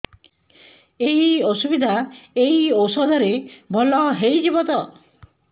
ଏଇ ଅସୁବିଧା ଏଇ ଔଷଧ ରେ ଭଲ ହେଇଯିବ ତ